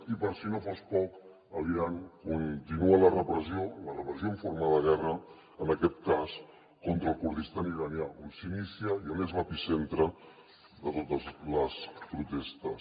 i per si no fos poc a l’iran continua la repressió la repressió en forma de guerra en aquest cas contra el kurdistan iranià on s’inicia i on és l’epicentre de totes les protestes